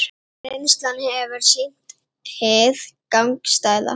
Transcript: Reynslan hefur sýnt hið gagnstæða